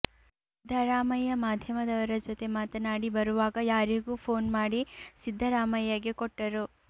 ಸಿದ್ದರಾಮಯ್ಯ ಮಾಧ್ಯಮದವರ ಜತೆ ಮಾತನಾಡಿ ಬರುವಾಗ ಯಾರಿಗೋ ಫೋನ್ ಮಾಡಿ ಸಿದ್ದರಾಮಯ್ಯಗೆ ಕೊಟ್ಟರು